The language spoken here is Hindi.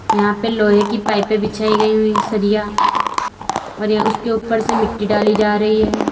यहां पे लोहे की पाइपे बिछाई गई हुई सरिया और यहां उसके ऊपर से मिट्टी डाली जा रही है।